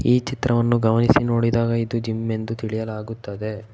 ಈ ಚಿತ್ರವನ್ನು ಗಮನಿಸಿ ನೋಡಿದಾಗ ಇದು ಜಿಮ್ ಎಂದು ತಿಳಿಯುತ್ತದೆ.